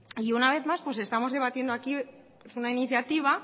y una vez más estamos debatiendo aquí una iniciativa